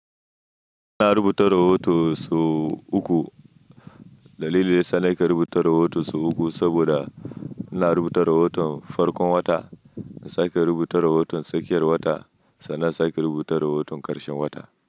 Ina rubuta rahoto su uku. Dalilin da yasa na ke rubuta rahoton su uku saboda ina rubuta rahoton farkon wata, nasa ke rubuta rahoton tsakiyar wata, sannan sa ke rubuta rahoton ƙarshen wata.